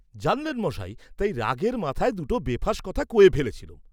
জানলেন মশায় তাই রাগের মাথায় দুট বেফাঁস কথা কয়ে ফেলেছিলুম!